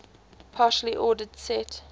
partially ordered set